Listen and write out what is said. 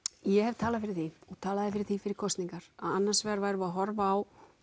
ég hef talað fyrir því og talaði fyrir því fyrir kosningar að annars vegar værum við að horfa á